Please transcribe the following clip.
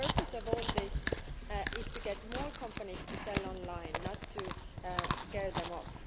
The purpose of all this is to get more companies to sell online, not to scare them off.